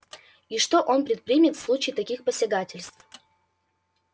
и что он предпримет в случае таких посягательств